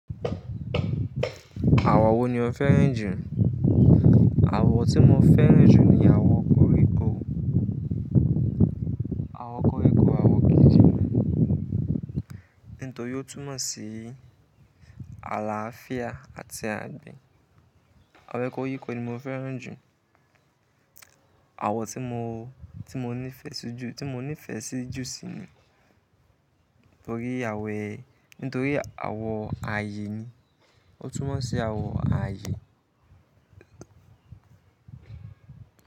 Àwọ̀ wo ni o fẹ́ràn jù? Àwọ̀ tí mo fẹ́ràn jù ni àwọ̀ koríko, àwọ̀ koríko, àwọ̀ gidi ní. Nítorí ó túmọ̀ sí àlàáfíà àti àgbẹ̀. Àwọ̀ koríko ni mo fẹ́ràn jù. Àwọ̀ tí mo, tí mo nífẹ̀ sí jù, tí mo nífẹ̀ sí jù sí ni, torí àwọ̀, nítorí àwọ̀ ààyè ni. Ó túmọ̀ sí àwọ̀ ààyè.